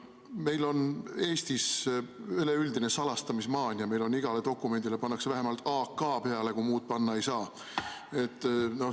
Meil on Eestis üleüldine salastamismaania, meil igale dokumendile pannakse vähemalt AK peale, kui muud panna ei saa.